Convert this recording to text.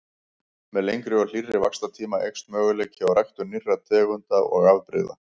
Með lengri og hlýrri vaxtartíma eykst möguleiki á ræktun nýrra tegunda og afbrigða.